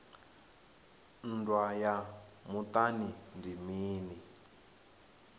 nndwa ya muṱani ndi mini